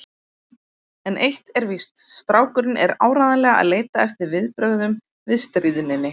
En eitt er víst: Strákurinn er áreiðanlega að leita eftir viðbrögðum við stríðninni.